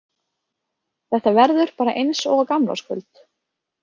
Þetta verður bara eins og á gamlárskvöld